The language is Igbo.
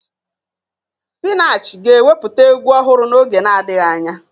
Spinach ga-ewepụta egwu ọhụrụ n'oge na-adịghị anya.